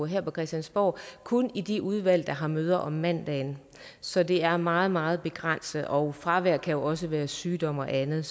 her på christiansborg kun i de udvalg der har møder om mandagen så det er meget meget begrænset og fravær kan jo også være sygdom og andet